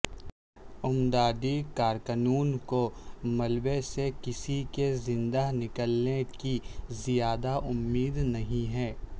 امدادی کارکنوں کو ملبے سےکسی کے زندہ نکلنے کی زیادہ امید نہیں ہے